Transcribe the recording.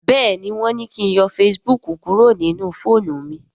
béèni wón ní kín yọ Facebook kúrò nínú fóònù mí.